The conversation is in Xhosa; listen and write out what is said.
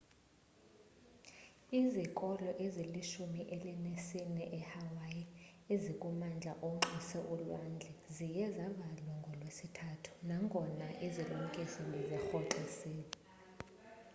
izikolo ezilishumi elinesine ehawaii ezikumandla onxuse ulwandle ziye zavalwa ngolwesithathu nangona izilumkiso bezirhoxisiwe